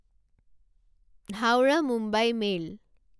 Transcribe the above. Howrah Mumbai mail